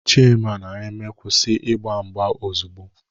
Chima na Eme kwụsị ịgba mgba ozugbo!